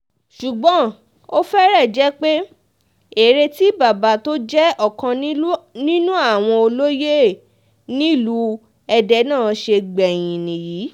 ṣùgbọ́n ó fẹ́rẹ̀ jẹ́ pé èrè tí bàbá tó jẹ́ ọ̀kan nínú àwọn olóye nílùú èdè náà ṣe gbẹ̀yìn nìyí